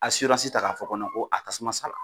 ta k'a fɔ ko ko a tasuma sala